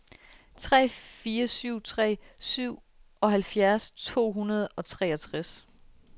tre fire syv tre syvoghalvfjerds to hundrede og treogtres